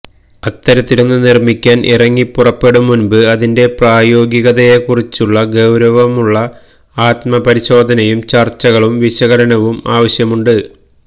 അത്തരത്തിലൊന്ന് നിര്മ്മിക്കാന് ഇറങ്ങിപ്പുറപ്പെടും മുന്പ് അതിന്റെ പ്രായോഗികതയെക്കുറിച്ചുള്ള ഗൌരവമുള്ള ആത്മപരിശോധനയും ചര്ച്ചകളും വിശകലനവും ആവശ്യമുണ്ട്